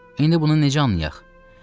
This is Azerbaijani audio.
İndi bunu necə anlayaq?